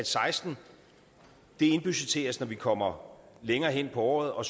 seksten indbudgetteres når vi kommer længere hen på året og